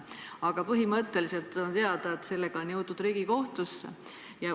Aga põhimõtteliselt on teada, et sellega on jõutud Riigikohtusse.